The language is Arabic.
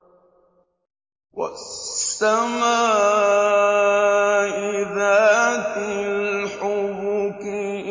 وَالسَّمَاءِ ذَاتِ الْحُبُكِ